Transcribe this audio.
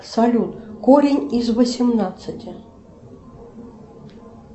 салют корень из восемнадцати